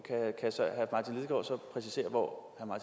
præcisere hvor